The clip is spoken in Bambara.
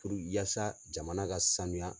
yasa jamana ka sanuya.